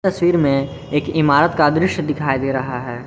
तस्वीर में एक इमारत का दृश्य दिखायी दे रहा है।